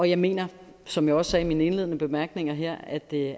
jeg mener som jeg også sagde i mine indledende bemærkninger her at det